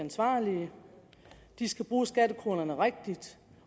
ansvarlige at de skal bruge skattekronerne rigtigt